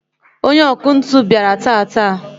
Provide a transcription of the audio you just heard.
onye ọkụ ntụ bịara taata